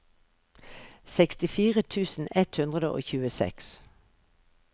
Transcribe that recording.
sekstifire tusen ett hundre og tjueseks